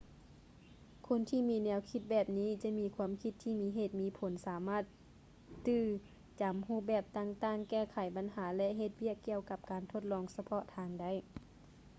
ຄົນທີ່ມີແນວຄິດແບບນີ້ຈະມີຄວາມຄິດທີ່ມີເຫດມີຜົນສາມາດຕື່ຈຳຮູບແບບຕ່າງໆ ແກ້ໄຂບັນຫາ ແລະ ເຮັດວຽກກ່ຽວກັບການທົດລອງສະເພາະທາງໄດ້